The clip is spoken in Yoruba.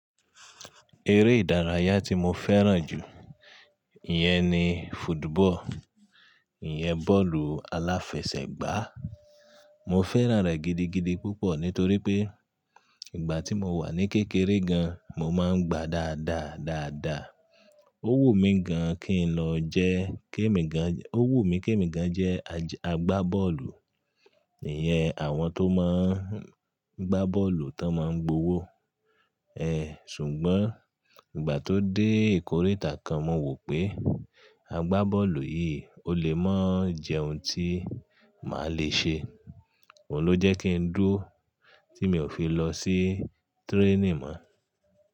Eré ìdárayá tí mo fẹ́ràn jù iyẹn ni football, ìyẹn bọ́ọ̀lù aláfẹsẹ̀gbá. Mo fẹ́ràn rẹ̀ gidigidi púpọ̀ nítorí pé ìgbà tí mo wà ní kékeré gan an mo máa ń gbá dáadáa dáadáa. Ó wù mí gan kí n lọ jẹ́ kémi gan-- ó wù mí kémi gan jẹ́ agbá bọ́ọ̀lù, ìyẹn àwọn tó máa ń gbá bọ́ọ̀lù tí wọ́n máa ń gbowó. Ṣùgbọ́n ìgbà tó dé ìkóríta kan mo wò pé agbá bọ́ọ̀lù yìí ò lè mọ́ jẹ ohun tí màá le ṣe. Óun ló jẹ́ kí n dúró tí mi ò fi lọ sí training mọ́.